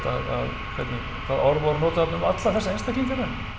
hvernig hvaða orð voru notuð um alla þessa einstaklinga